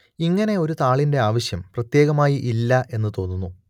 ഇങ്ങനെ ഒരു താളിന്റെ ആവശ്യം പ്രത്യേകമായി ഇല്ല എന്നു തോന്നുന്നു